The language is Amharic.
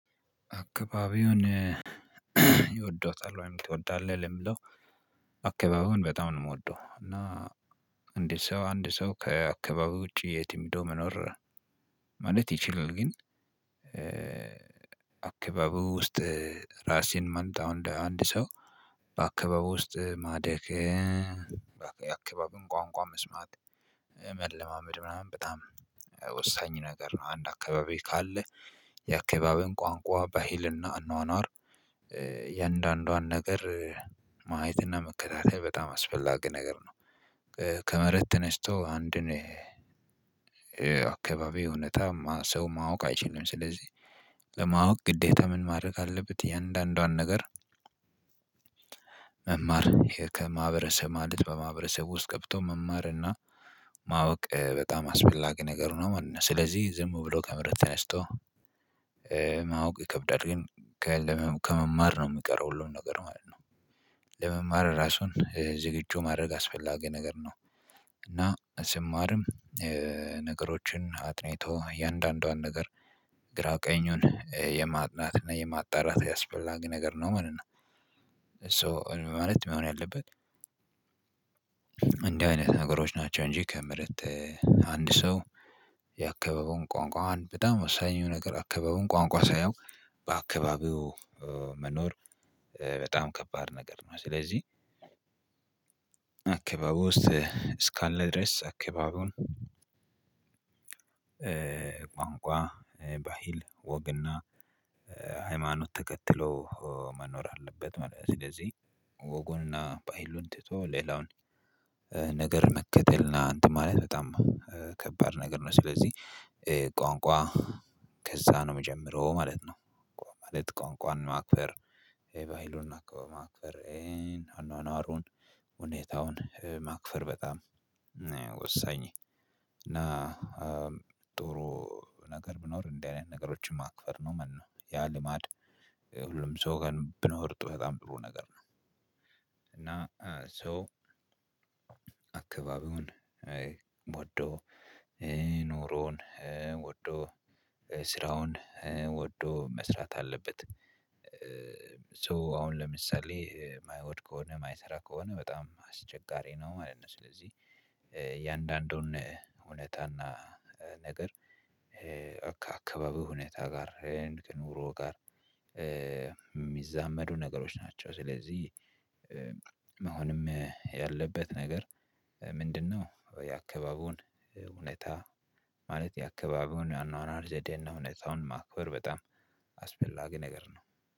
አካባቢውን ይወደውታል ወይም ትወዳለህ? ለሚለው አካባቢውን በጣም ነው እምወደው እና አንድ ሰው አንድ ሰው ከአካባቢው ውጪ የትም ሂዶ መኖር ማለት ይችላል። ግን አካባቡ ውስጥ ራሴን ማንጣው እንደ አንድ ሰው በአካባቢው ውስጥ ማደግ የአካባቢውን ቋንቋ መስማት መለማመድ ምናምን በጣም ወሳኝ ነገር ነው። አንድ አካባቢ ካለ የአካባቢውን ቋንቋ በህልና አኗኗር እያንዳንዷን ነገር ማየትና መከታተል በጣም አስፈላጊ ነገር ነው። ከመሬት ተነስቶ አንድን አካባቢ እውነታ ሰው ማወቅ አይችልም ስለዚህ ለማወቅ ግዴታ ምን ማድረግ አለበት። እያንዳንዷን ነገር መማር ከማህበረሰብ ማለት በማህበረሰቡ ውስጥ ገብቶ መማርና ማወቅ በጣም አስፈላጊ ነገር ነው ማለት ነው። ስለዚህ ዝም ብሎ ከመረጥ ተነስቶ ማወቅ ይከብዳል ግን ከመማር ነው እሚቀረው ሁሉም ነገር ማለት ነው። ለመማር ራሱን ዝግጁ ማድረግ አስፈላጊ ነገር ነው። እና ስማርም ነገሮችን አጥንቶ እያንዳንዷን ነገር ግራ ቀኙን የማጥናት እና የማጣራት አስፈላግ ነገር ነው ማለት ነው። ሶ ማለት መሆን ያለበት እንዲህ አይነት ነገሮች ናቸው። እንጂ ከምህረት አንድ ሰው የአካባቢውን ቋንቋውን በጣም ወሳኝ የሚሆነው ነገር አካባቢውን ቋንቋ ሳያውቅ በአካባቢው መኖር በጣም ከባድ ነገር ነው። ስለዚህ አካባቢ ውስጥ እስካለ ድረስ አካባቢውን ቋንቋ ባሂል ወግና ሃይማኖት ተከትሎ መኖር አለበት ማለት ነው። ስለዚህ ወጉንና ባህሉን ትቶ ሌላውን ነገር መከተልና አንትን ማለት በጣም ከባድ ነገር ነው። ስለዚህ ቋንቋ ከዛ ነው እምጀምረው ማለት ነው። ማለት ቋንቋን ማክበር ባህሉን ማክበር አኗኗሩን ሁኔታውን ማክበር በጣም ወሳኝ እና ጥሩ ነገር ብኖር እንደዚህ አይነት ነገሮችን ማክበር ነው ማለት ነው። ያ ልማድ ሁሉም ሰው ከልብ ነው በጣም ጥሩ ነገር ነው። እና ሰው አካባቢውን ወዶ ኑሮውን ወዶ ስራውን ወዶ መስራት አለበት። ሶ አሁን ለምሳሌ እማይሆን ከሆነ የማይሰራ ከሆነ በጣም አስቸጋሪ ነው ማለት ነው። ስለዚህ እያንዳንዱን እውነታና ነገር ከአካባቢው ሁኔታ ጋር ከኑሮ ጋር የሚዛመዱ ነገሮች ናቸው። ስለዚህ መሆንም ያለበት ነገር ምንድነው? የአካባቢውን እውነታ ማለት የአካባቢውን አኗኗር ዘዴና እውነታውን ማክበር በጣም አስፈላጊ ነገር ነው